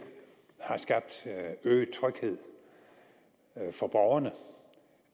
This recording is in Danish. har skabt øget tryghed for borgerne